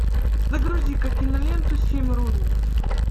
загрузи ка киноленту семь ронинов